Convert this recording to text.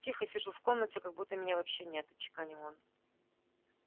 тихо сижу в комнате как будто меня вообще нет отчеканил он